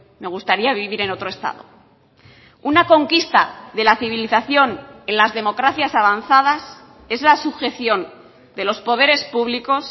me gustaría vivir en otro estado una conquista de la civilización en las democracias avanzadas es la sujeción de los poderes públicos